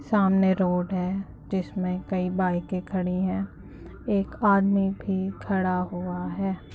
सामने रोड है जिसमे कई बाइकें खड़ी हैं एक आदमी भी खड़ा हुआ है ।